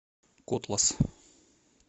котлас